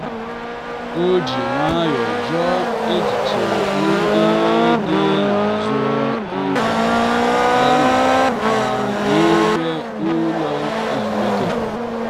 o ji nwayọọ jụọ echiche ndị dị n'azụ njakịrị a na-ekwu n'ime ụlọ ezumike.